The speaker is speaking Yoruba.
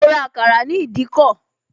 Mo ra àkàrà ní ìdíkọ̀